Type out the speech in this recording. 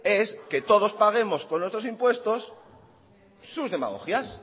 es que todos paguemos con nuestros impuestos sus demagogias